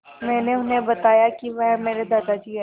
मैंने उन्हें बताया कि वह मेरे दादाजी हैं